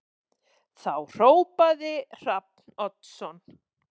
Þá hrópaði Hrafn Oddsson